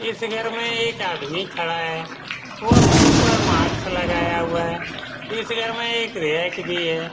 इस घर में एक आदमी खड़ा है। वो मुह पर मास्क लगाया हुआ है। इस घर में रैक भी है।